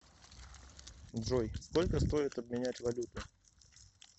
джой сколько стоит обменять валюту